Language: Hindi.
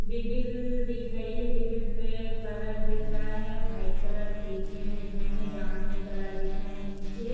दीबिल दिख रही है दीबिल पे कलर दिख रहा है व्हाइट कलर खिड़कियां दिख रही है जामुनी कलर दिख रहा है नीचे।